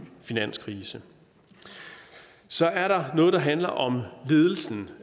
finanskrise så er der noget der handler om ledelsen